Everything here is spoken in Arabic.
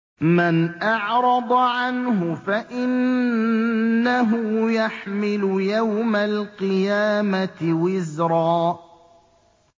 مَّنْ أَعْرَضَ عَنْهُ فَإِنَّهُ يَحْمِلُ يَوْمَ الْقِيَامَةِ وِزْرًا